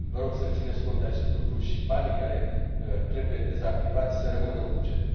Vă rog să țineți cont de acest lucru și banii care trebuie dezactivați să rămână în buget.